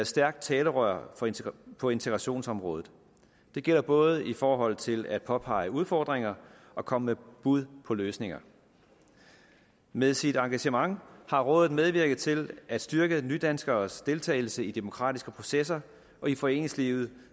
stærkt talerør på integrationsområdet det gælder både i forhold til at påpege udfordringer og komme med bud på løsninger med sit engagement har rådet medvirket til at styrke nydanskeres deltagelse i demokratiske processer og i foreningslivet